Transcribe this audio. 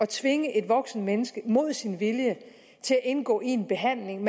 tvinger et voksent menneske til imod sin vilje at indgå i en behandling